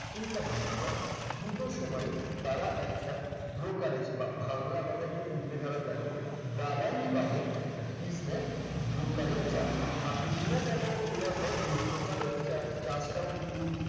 কিংবা বিক্রয় দুটো সময়ই তারা একটা brokerage বা বাংলা কথায় একটু শুনতে খারাপ লাগে দালালি বাবদ একটা fees নেয় brokerage charge আপনি demat account খোলার পর এই brokerage cha charge টাও কিন্তু